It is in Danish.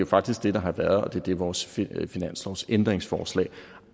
faktisk det der har været og det er det vores finanslovsændringsforslag